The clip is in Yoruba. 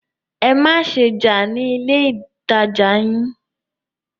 Ẹ má ṣe jà ní ilé ìtajà yìí!